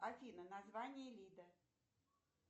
афина название лида